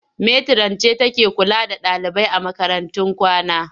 Metiran ce take kula da ɗalibai a makarantun kwana.